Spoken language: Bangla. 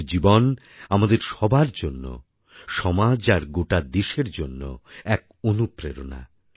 ওঁর জীবন আমাদের সবার জন্য সমাজ আর গোটা দেশের জন্য এক অনুপ্রেরণা